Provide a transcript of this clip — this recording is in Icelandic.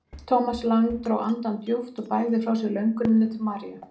Thomas Lang dró andann djúpt og bægði frá sér lönguninni til Maríu.